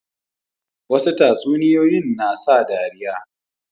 Wasu tatsuniyoyin na sa dariya